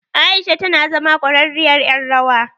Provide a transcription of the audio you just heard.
Aisha tana zama ƙwararriyar ƴar rawa.